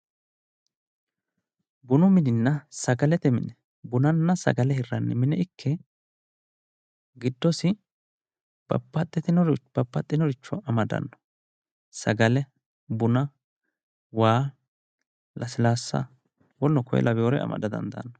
Bunu mininna sagalete mini bunnanna sagale hirranni mine ikke giddosi babbaxinoricho amadanno sagale buna waa lasilaassa woleno kuri lawinore amada dandaanno.